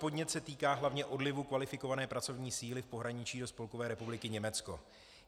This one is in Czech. Podnět se týká hlavně odlivu kvalifikované pracovní síly v pohraničí do Spolkové republiky Německo.